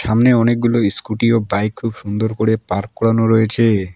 সামনে অনেকগুলো স্কুটি ও বাইক খুব সুন্দর করে পার্ক করানো রয়েছে।